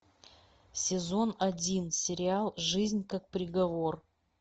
сезон один сериал жизнь как приговор